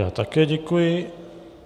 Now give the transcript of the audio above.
Já také děkuji.